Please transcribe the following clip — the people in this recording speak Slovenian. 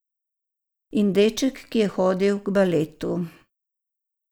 In deček, ki je hodil k baletu.